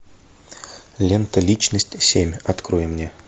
лента личность семь открой мне